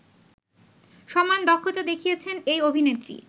সমান দক্ষতা দেখিয়েছেন এই অভিনেত্রী